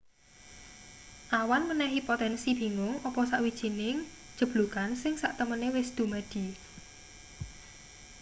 awan menehi potensi bingung apa sawijining jeblugan sing satemene wis dumadi